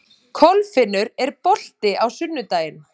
Kolfinnur, er bolti á sunnudaginn?